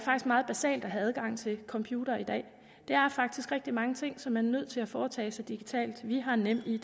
meget basalt at have adgang til computere i dag der er faktisk rigtig mange ting som man er nødt til at foretage sig digitalt vi har nemid